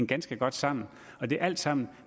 ganske godt sammen og det er alt sammen